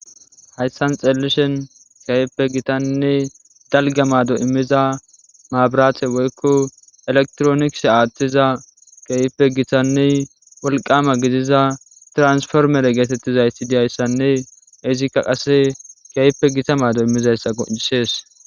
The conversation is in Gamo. Hayssan xeelishen keehippe gitannne dalgga maado immiza maabirate woykko elektronikise aathtiza keehippe gitanne wolqama gidiza transformere geetettizayti diyayssanne izikka qase gaype gita maado immizayssa qonccisees.